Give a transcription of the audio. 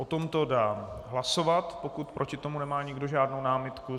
O tomto dám hlasovat, pokud proti tomu nemá nikdo žádnou námitku.